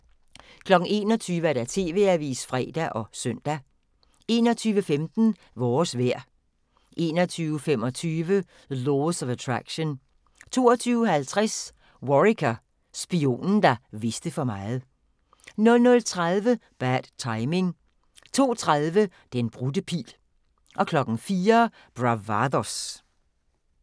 21:00: TV-avisen (fre og søn) 21:15: Vores vejr 21:25: Laws of Attraction 22:50: Worricker: Spionen, der vidste for meget 00:30: Bad Timing 02:30: Den brudte pil 04:00: Bravados